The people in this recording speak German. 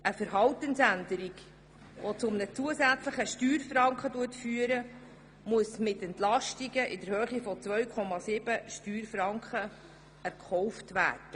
Eine Verhaltensänderung, die zu einem zusätzlichen Steuerfranken führt, muss mit der Entlastung von 2,7 Steuerfranken erkauft werden.